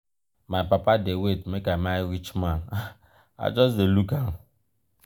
my papa dey wait make i marry rich man i just dey look am.